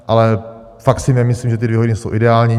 Ale fakt si nemyslím, že ty dvě hodiny jsou ideální.